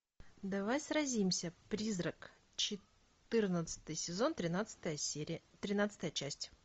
давай сразимся призрак четырнадцатый сезон тринадцатая серия тринадцатая часть